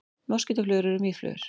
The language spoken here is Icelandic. Moskítóflugur eru mýflugur.